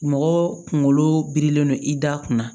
Mɔgɔ kunkolo birilen don i da kunna